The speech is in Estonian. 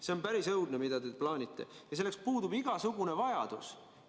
See on päris õudne, mida te plaanite, ja selleks puudub igasugune vajadus.